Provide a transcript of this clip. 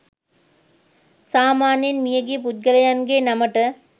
සාමාන්‍යයෙන් මිය ගිය පුද්ගලයන්ගේ නමට